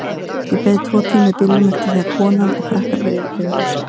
Ég beið tvo tíma í bílnum eftir því að konan og krakkarnir yfirgæfu húsið.